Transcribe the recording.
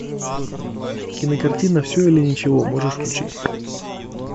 кинокартина все или ничего можешь включить